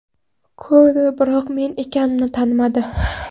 Ko‘rdi, biroq men ekanimni tanimadi.